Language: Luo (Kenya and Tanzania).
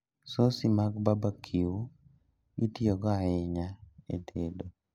Sosi mag barbecue itiyogo ahinya e tedo